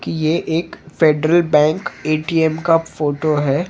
कि ये एक फेडरल बैंक एटीएम का फोटो हैं।